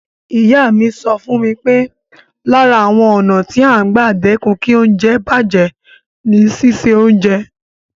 Ìyá mi sọ fún mi pé lára àwọn ọ̀nà tí à ń gbà dẹ́kun kí oúnjẹ bàjẹ́ ni síse oúnjẹ.